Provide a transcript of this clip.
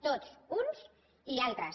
tots uns i altres